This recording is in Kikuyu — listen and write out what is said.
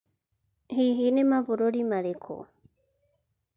Hihi nĩ mabũrũri marĩkũ?